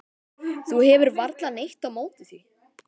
Þú hefur varla neitt á móti því?